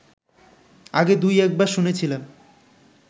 আগে দুই-একবার শুনেছিলাম